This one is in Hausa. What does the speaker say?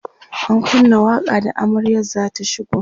an kunna waƙa da amaryar zata shigo